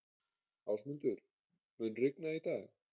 Ásmundur, mun rigna í dag?